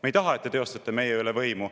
Me ei taha, et te teostate meie üle võimu.